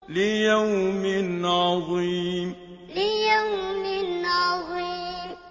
لِيَوْمٍ عَظِيمٍ لِيَوْمٍ عَظِيمٍ